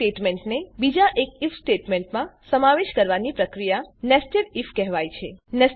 if સ્ટેટમેંટને બીજા એક આઇએફ સ્ટેટમેંટમાં સમાવેશ કરવાની પ્રક્રિયાને nested આઇએફ કહેવાય છે